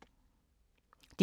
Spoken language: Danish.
DR K